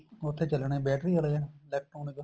ਉੱਥੇ ਚੱਲਣੇ ਆ battery ਆਲੇ electronic